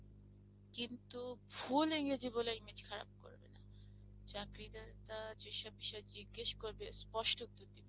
কিন্তু ভুল ইংরেজি বলে Image খারাপ করবে না চাকরিদাতা যেসব বিষয়ে জিজ্ঞেস করবে স্পষ্ট উত্তর দেবে।